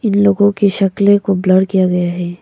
इन लोगों के शक्ले को ब्लर किया गया है।